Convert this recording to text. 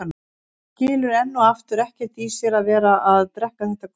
Hún skilur enn og aftur ekkert í sér að vera að drekka þetta gutl.